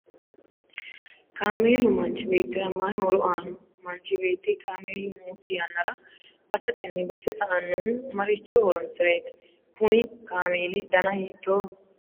kaameelu manchi beettira mayii horo aanno? manchi beetti kaameelu nookki yannara basetenni base sa'annohu maricho horonsireeti? kuni kaameeli dana hiittooho?